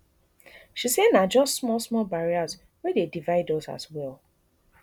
she say na just small small barriers wey dey divide us as well